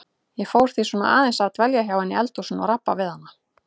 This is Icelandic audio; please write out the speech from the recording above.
Ég fór því svona aðeins að dvelja hjá henni í eldhúsinu og rabba við hana.